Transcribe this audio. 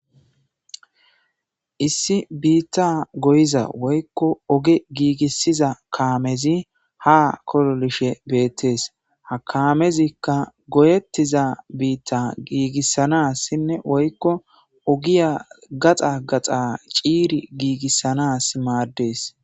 Issi biitta goyiza woykko oge giigissiza kaamezi ha kololishe beettees ha kaamezikka goyettiza biitta giigissanas sinne woykko ogiya gaxa gaxa ciiri giigissanas maaddees.